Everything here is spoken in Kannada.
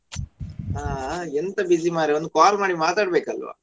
ಹಾ ಎಂತ busy ಮಾರಾಯಾ ಒಂದು call ಮಾಡಿ ಮಾತಡಬೇಕಲ್ವಾ.